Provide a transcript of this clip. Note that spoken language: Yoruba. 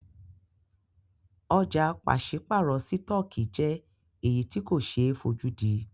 Ọ̀jà pàṣípàrọ̀ sítọ̀kì jẹ́ èyí tí ko ṣe é fojúdí.